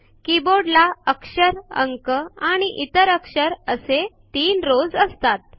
keyboard ला अक्षर अंक आणि इतर अक्षर असे तीन रॉव्स असतात